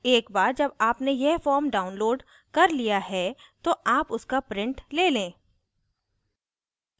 एक बार जब आपने यह form downloaded कर लिया है तो आप उसका print ले लें